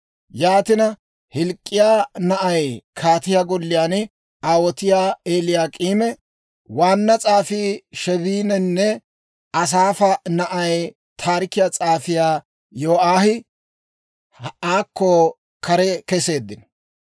Yaatina, Hilk'k'iyaa na'ay kaatiyaa golliyaan aawotiyaa Eliyaak'iime, waanna s'aafii Sheebininne Asaafa na'ay taarikiyaa s'aafiyaa Yo'aahi aakko kare keseeddino.